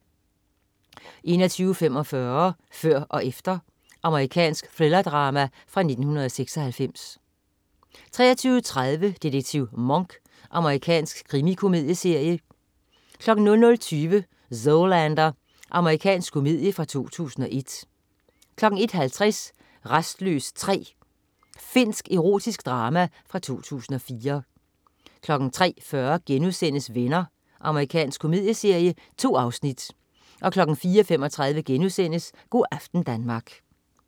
21.45 Før og efter. Amerikansk thrillerdrama fra 1996 23.30 Detektiv Monk. Amerikansk krimikomedieserie 00.20 Zoolander. Amerikansk komedie fra 2001 01.50 Rastløs 3. Finsk erotisk drama fra 2004 03.40 Venner.* Amerikansk komedieserie. 2 afsnit 04.35 Go' aften Danmark*